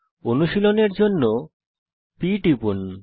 অনুশীলনের জন্য p টিপুন